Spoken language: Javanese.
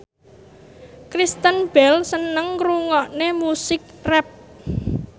Kristen Bell seneng ngrungokne musik rap